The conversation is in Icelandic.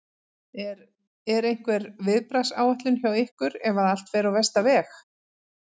Er, er einhver viðbragðsáætlun hjá ykkur ef að allt fer á versta veg?